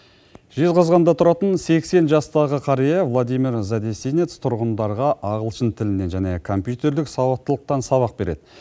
жезқазғанда тұратын сексен жастағы қария владимир задесинец тұрғындарға ағылшын тілінен және компьютерлік сауаттылықтан сабақ береді